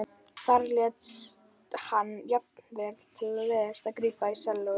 Þar lét hann jafnvel til leiðast að grípa í sellóið.